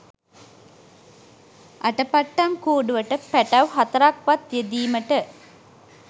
අටපට්ටම් කූඩුවට පැටව් හතරක් වත් යෙදීමට